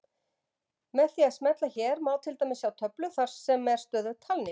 Með því að smella hér má til dæmis sjá töflu þar sem er stöðug talning.